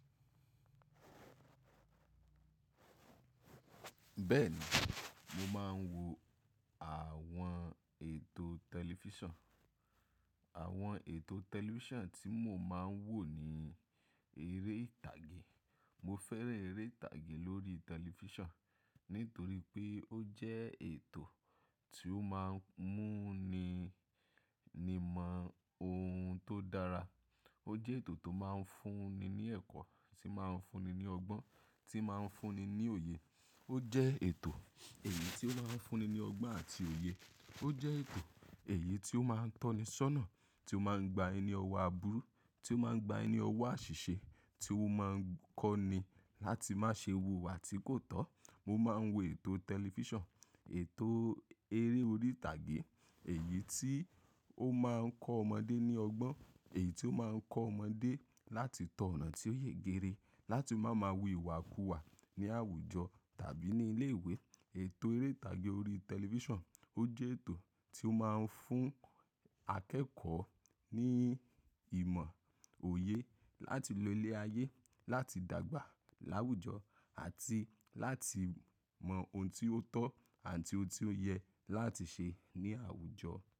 Bẹ́ẹ̀ni, mo máa ń wo àwọn ètò tẹlifíṣàn. Àwọn ètò tẹlifíṣàn tí mo máa ń wò ni eré ìtàgé. Mo fẹ́ràn eré ìtàgé lórí tẹlifíṣàn, nítorí pé ó jẹ́ ètò tí ó máa ń mú ni mọ ohun tó dára. Ó jẹ́ ètò tó máa ń fún ni ní ẹ̀kọ́, tí máa ń fún ni ní ọgbọ́n, tí máa ń fún ni ní òye. Ó jẹ́ ètò èyí tí ó máa ń fún ni ní ọgbọ́n àti òye. Ó jẹ́ ètò èyí tí ó máa ń tọ́ni ṣọ́nà, tí ó máa ń gba ẹni ni ọwọ́ aburú, tí ó máa ń gba ẹni ní ọwọ́ àṣìṣe, tí ó máa ń kọ́ ni láti má ṣe wu ìwà tí kò tọ́. Mo máa ń wo ètò tẹlifíṣàn, ètò eré orí ìtàgé, èyí tí ó máa ń kọ ọmọdé ní ọgbọ́n, èyí tí ó máa ń kọ ọmọdé láti tọ ọ̀nà tí ó yẹ gere, láti má má wí wà kú wà ní àwùjọ tàbí ní ilé ìwé. Ètò eré ìtàgé orí tẹlifíṣàn ó jẹ́ ètò tí ó máa ń fún akẹ́kọ̀ọ́ ní ìmọ̀ òye láti lo ilé ayé, láti dàgbà láwùjọ àti láti mọ ohun tí ó tọ́ àti ohun tí ó yẹ láti ṣe ní àwùjọ.